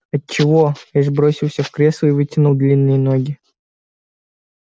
отчего эш бросился в кресло и вытянул длинные ноги